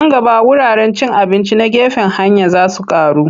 Nan gaba wuraren cin abinci na gefen hanya za su ƙaru.